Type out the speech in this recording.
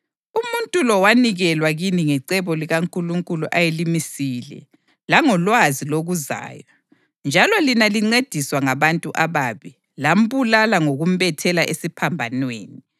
Umuntu lo wanikelwa kini ngecebo likaNkulunkulu ayelimisile langolwazi lokuzayo; njalo lina lincediswa ngabantu ababi, + 2.23 kumbe ngabantu abangelamthetho (okutsho abaZizwe) lambulala ngokumbethela esiphambanweni.